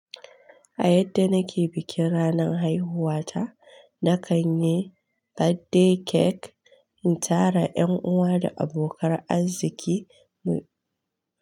A yadda nake bikin ranan haihuwa ta, na kan yi birthday cake, in tara ƴan uwa da abokan arziki mu.